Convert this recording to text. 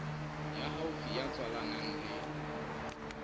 ya haufi ya tswalanang le